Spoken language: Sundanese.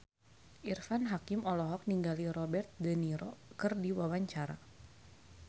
Irfan Hakim olohok ningali Robert de Niro keur diwawancara